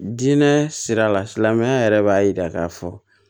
Diinɛ sira la silamɛya yɛrɛ b'a yira k'a fɔ